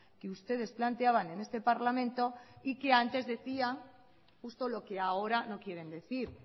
que ustedes planteaban en este parlamento y que antes decía justo lo que ahora no quieren decir